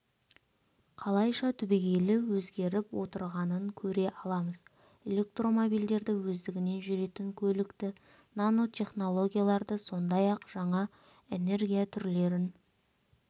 қалайша түбегейлі өзгеріп отырғанын көре аламыз электромобильдерді өздігінен жүретін көлікті нанотехнологияларды сондай-ақ жаңа энергия түрлерін